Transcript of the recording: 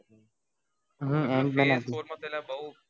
હમ ant man હતી